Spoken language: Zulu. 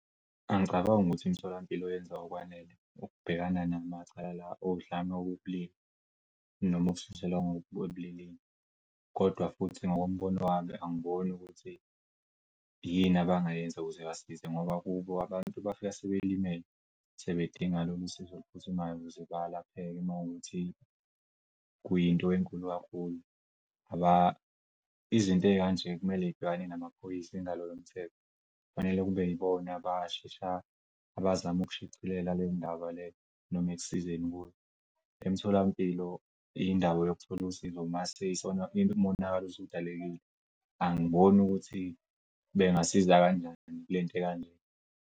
Angicabangi ukuthi imitholampilo yenza okwanele ukubhekana namacala odlame okobulili noma ukushiselwa ebulilini. Kodwa futhi ngokombono wami angiboni ukuthi yini abangayenza ukuze basize ngoba kubo abantu bafika sebelimele sebedinga lolu usizo oluphuthumayo ukuze balapheke makuthi kuyinto enkulu kakhulu. Izinto ey'kanje kumele y'bhekane namaphoyisa ingalo yomthetho kufanele kube yibona abazam'ukushicilela lendaba leyo noma ekusizeni . Emtholampilo indawo yokuthola usizo mase umonakalo usudalekile. Angiboni ukuthi bengasiza kanjani kulento ekanje.